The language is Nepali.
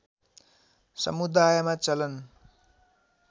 समुदायमा चलन